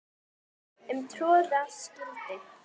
um troða skyldi